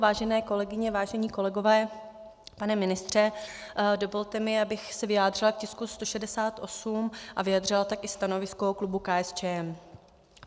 Vážené kolegyně, vážení kolegové, pane ministře, dovolte mi, abych se vyjádřila k tisku 168 a vyjádřila tak i stanovisko klubu KSČM.